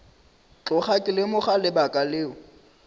tloga ke lemoga lebaka leo